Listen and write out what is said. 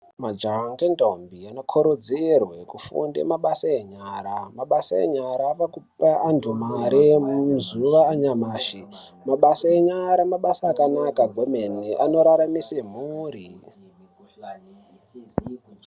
Majaya ngentombo anokorodzerwe kufunda mabasa enyara. Mabasa enyara avakupa antu mari yemuzuva anyamashe. Mabasa enyara, mabasa akanaka hemeni anoraramise mhuri.